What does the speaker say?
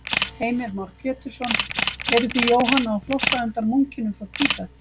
Heimir Már Pétursson: Eruð þið Jóhanna á flótta undan munkinum frá Tíbet?